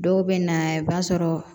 Dɔw bɛ na i b'a sɔrɔ